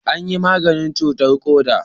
An yi maganin cutarr koda